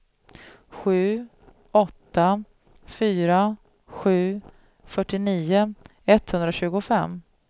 sju åtta fyra sju fyrtionio etthundratjugofem